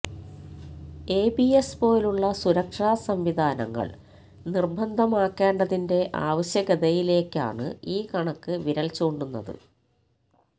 ABS പോലുള്ള സുരക്ഷാസംവിധാനങ്ങള് നിര്ബന്ധമാക്കേണ്ടതിന്റെ ആവശ്യകതയിലേക്കാണ് ഈ കണക്ക് വിരല്ചൂണ്ടുന്നത്